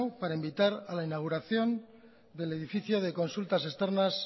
para invitar a la inauguración del edificio de consultas externas